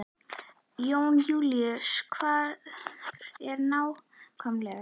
Jón Júlíus, hvar ertu nákvæmlega?